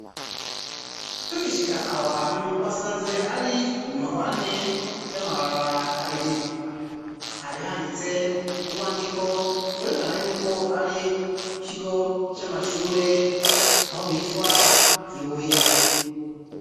Tugishika aho hantu twasanze ari mu mahwane y'amabarabara abiri harihanditse urwandiko rwerekana yuko ari ku kigo c'amashure aho bitwa Ibuye